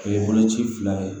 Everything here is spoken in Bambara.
O ye boloci fila ye